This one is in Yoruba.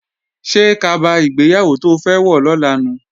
Ṣé kaba ìgbéyàwó to fẹ́ wọ̀ lọ́la nu?